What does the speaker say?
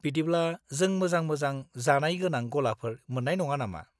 बिदिब्ला, जों मोजां-मोजां जानाय गोनां गलाफोर मोन्नाय नङा नामा?